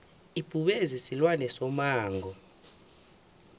ibhubezi silwane somango